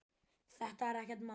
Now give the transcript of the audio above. Þetta er ekkert mál.